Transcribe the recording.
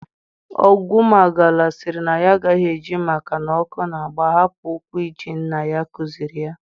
Ogwumagala sịrị na ya agaghị eji maka na ọkụ na-agba hapụ ụkwụ-ije nna ya kụziiri ya.